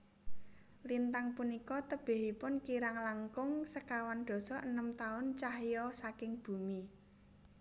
Lintang punika tebihipun kirang langkung sekawan dasa enem taun cahya saking bumi